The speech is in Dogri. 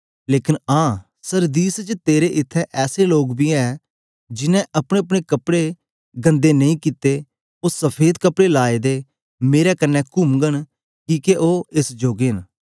लेकन आं सरदीस च तेरे इत्थैं ऐसे लोग बी ऐ जिन्हैं अपनेअपने कपड़े गन्दा नेई कित्ते ओ सफेद कपड़े लाए दे मेरे कन्ने कुमघन किके ओ एस जोगे न